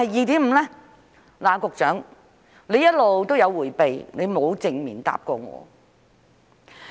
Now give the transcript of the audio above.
局長一直在迴避，沒有正面回答過我。